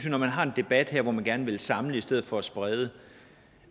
at når man har en debat her hvor man gerne vil samle i stedet for at sprede